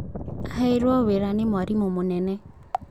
Aheirwo wĩra nĩ mwarimũ mũnene